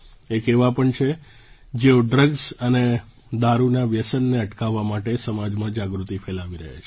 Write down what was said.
એક એવા પણ છે જેઓ ડ્રગ્સ અને દારૂના વ્યસનને અટકાવવા માટે સમાજમાં જાગૃતિ ફેલાવી રહ્યા છે